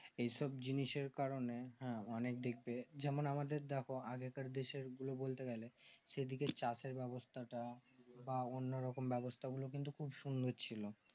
এই সব জিনিসের কারনে হ্যাঁ অনেক যেমন আমাদের দেখো আজকের দেশের গুলো বলতে গেলে সেই দিকে চাষের ব্যাবস্তা তা বা অন্য রকম ব্যাবস্তা গুলো কিন্তু খুব সুন্দর ছিল